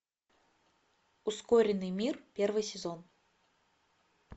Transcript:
ускоренный мир первый сезон